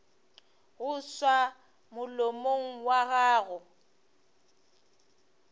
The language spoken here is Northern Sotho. go tšwa molomong wa gago